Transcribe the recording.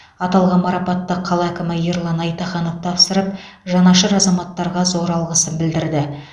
аталған марапатты қала әкімі ерлан айтаханов тапсырып жанашыр азаматтарға зор алғысын білдірді